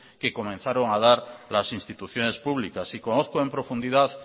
que comenzaron a dar las instituciones públicas y conozco en profundidad